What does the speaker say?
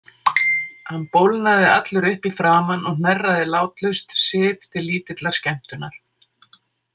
Hann bólgnaði allur upp í framan og hnerraði látlaust, Sif til lítillar skemmtunar.